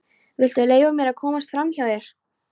Viltu leyfa mér að komast framhjá þér!